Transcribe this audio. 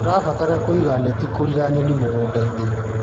Tũrabatara kũiga neti kũriĩra nyoni mũgũndainĩ.